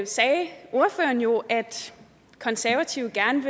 sagde ordføreren jo at de konservative gerne